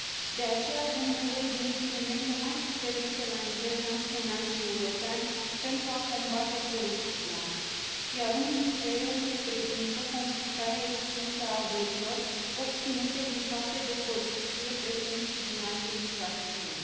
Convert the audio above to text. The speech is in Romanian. De aceea, avem nevoie de instrumente mai puternice la nivel național și european pentru a combate corupția, iar unul dintre ele îl reprezintă confiscarea extinsă a averilor obținute din fapte de corupție, precum și din alte infracțiuni.